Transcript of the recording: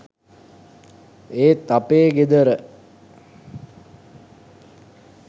ඒත් අපේ ගෙදර